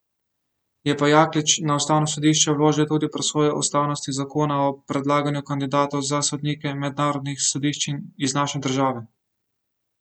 Je pa Jaklič na ustavno sodišče vložil tudi presojo ustavnosti zakona o predlaganju kandidatov za sodnike mednarodnih sodišč iz naše države.